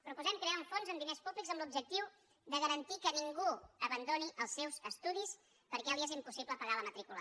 proposem crear un fons amb diners públics amb l’objectiu de garantir que ningú abandoni els seus estudis perquè li és impossible pagar la matrícula